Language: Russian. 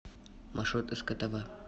маршрут сктв